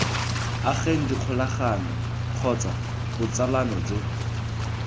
ageng dikgolagano kgotsa botsalano jo